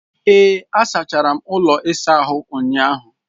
Ee, asachara m ụlọ ịsa ahụ ụnyahụ.